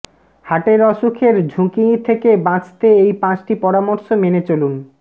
হার্টের অসুখের ঝুঁকি থেকে বাঁচতে এই পাঁচটি পরামর্শ মেনে চলুন